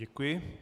Děkuji.